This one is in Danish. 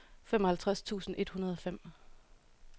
femoghalvtreds tusind et hundrede og fem